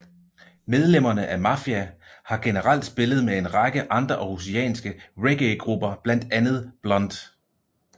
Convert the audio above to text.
Medlemmerne i Mafijah har generelt spillet med en række andre århusianske reggaegrupper blandt andet Blunt